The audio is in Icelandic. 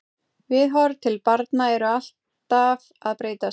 Viðhorf til barna eru alltaf að breytast.